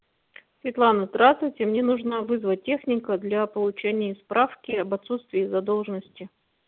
светлана здравствуйте мне нужно вызвать техника для получения справки об отсутствии задолженности